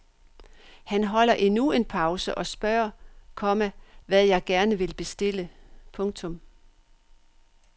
Han holder endnu en pause og spørger, komma hvad jeg gerne vil bestille. punktum